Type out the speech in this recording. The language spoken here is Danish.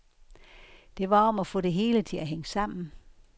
Det var om at få det hele til at hænge sammen.